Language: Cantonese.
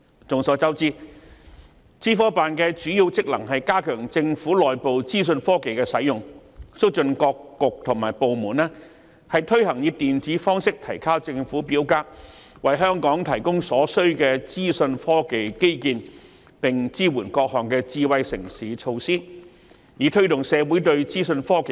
眾所周知，資科辦的主要職能是加強政府內部資訊科技的使用，促進各局及部門推行以電子方式提交政府表格，為香港提供所需的資訊科技基建，並支援各項智慧城市措施，以推動社會應用資訊科技。